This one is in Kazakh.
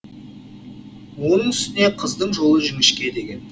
оның үстіне қыздың жолы жіңішке деген